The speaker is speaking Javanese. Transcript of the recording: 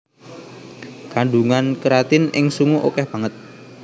Kandungan keratin ing sungu okèh banget